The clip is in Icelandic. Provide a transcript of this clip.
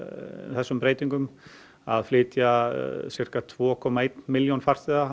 þessum breytingum að flytja sirka tvær komma eina milljón farþega